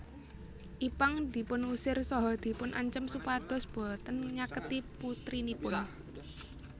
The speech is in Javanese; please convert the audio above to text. Ipank dipun usir saha dipun ancem supados boten nyaketi putrinipun